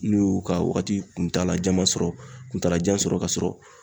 N'u y'u ka wagati kuntaala jan masɔrɔ kuntala jan sɔrɔ ka sɔrɔ